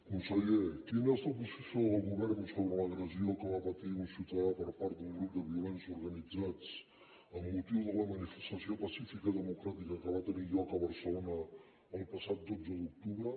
conseller quina és la posició del govern sobre l’agressió que va patir un ciutadà per part d’un grup de violents organitzats amb motiu de la manifestació pacífica democràtica que va tenir lloc a barcelona el passat dotze d’octubre